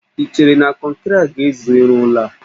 I cheere na kọnkịrị a ga-ezu irụ ụlọ a?